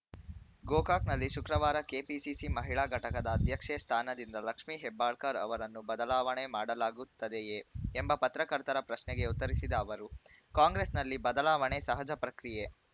ಗೋಕಾಕನಲ್ಲಿ ಶುಕ್ರವಾರ ಕೆಪಿಸಿಸಿ ಮಹಿಳಾ ಘಟಕದ ಅಧ್ಯಕ್ಷೆ ಸ್ಥಾನದಿಂದ ಲಕ್ಷ್ಮೀ ಹೆಬ್ಬಾಳಕರ್‌ ಅವರನ್ನು ಬದಲಾವಣೆ ಮಾಡಲಾಗುತ್ತದೆಯೇ ಎಂಬ ಪತ್ರಕರ್ತರ ಪ್ರಶ್ನೆಗೆ ಉತ್ತರಿಸಿದ ಅವರು ಕಾಂಗ್ರೆಸ್‌ನಲ್ಲಿ ಬದಲಾವಣೆ ಸಹಜ ಪ್ರಕ್ರಿಯೆ